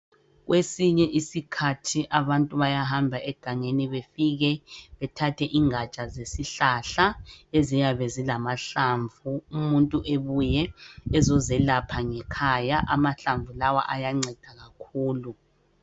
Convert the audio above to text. Kwesinye isikhathi abantu bayahamba egangeni befike bethathe ingatsha zesihlahla eziyabe zilamahlamvu umuntu ebuye ezozelapha ngekhaya amahlamvu lawa ayanceda kakhulu.